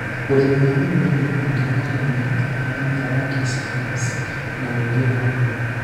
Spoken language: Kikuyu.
Ũrĩmi wa mĩgũnda nĩ rũhonge rwa ũrĩmi wa mĩmera wa kĩsayansi na ũũgĩ wa ũrĩmi